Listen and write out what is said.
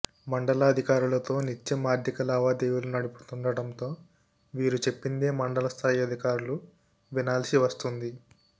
మండలాధికారులతో నిత్యం ఆర్థిక లావాదేవీలు నడుపుతుండడంతో వీరు చెప్పిందే మండల స్థాయి అధికారులు వినాల్సి వస్తుంది